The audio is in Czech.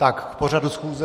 Tak k pořadu schůze...